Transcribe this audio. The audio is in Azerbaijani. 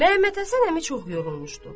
Məmmədhəsən əmi çox yorulmuşdu.